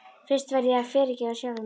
Fyrst verð ég að fyrirgefa sjálfum mér.